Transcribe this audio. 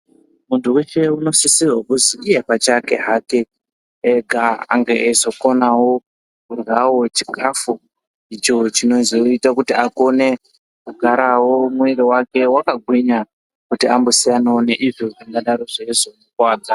Muntu weshe unosisirwa kuzi iye pachake hake ega ange eizokonawo kuryawo chikafu icho chinozoita kuti akone kugarawo mwiri wake wakagwinya kuti ambosiyanawo neizvo zvingadaro zveizomukuvadza.